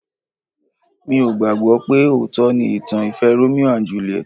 Mi ò gbàgbọ́ pé òótọ́ ni ìtàn ìfẹ́ Romeo and Juliet